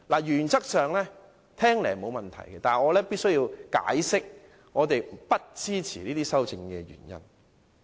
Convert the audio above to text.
原則上，這些修正案聽起來沒有問題，但我必須解釋我們不支持這些修正案的原因。